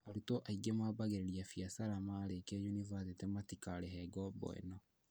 Arutwo aingĩ mambagĩrĩria biacara marĩĩkia yunibathĩtĩ matikarĩhe ngoombo ĩno